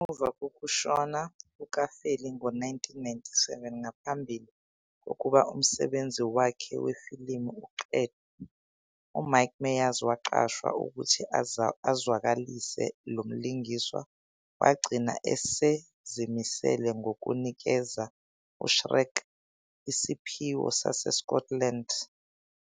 Ngemuva kokushona kuka-Farley ngo-1997 ngaphambi kokuba umsebenzi wakhe wefilimu uqedwe, uMike Myers waqashwa ukuthi azwakalise lo mlingiswa, wagcina esezimisele ngokunikeza uShrek isiphiwo saseScotland.